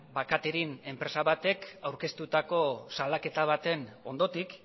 catering enpresa batek aurkeztutako salaketa baten ondotik